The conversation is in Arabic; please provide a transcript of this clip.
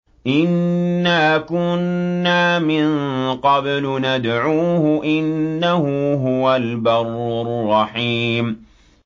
إِنَّا كُنَّا مِن قَبْلُ نَدْعُوهُ ۖ إِنَّهُ هُوَ الْبَرُّ الرَّحِيمُ